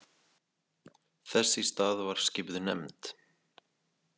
Þess í stað var skipuð nefnd.